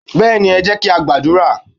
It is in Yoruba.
Béèni, e jé kí á gbàdúrà